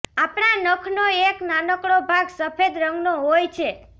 આપણા નખનો એક નાનકડો ભાગ સફેદ રંગનો હોય છે